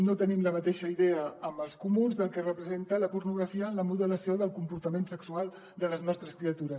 no tenim la mateixa idea amb els comuns del que representa la pornografia en el modelatge del comportament sexual de les nostres criatures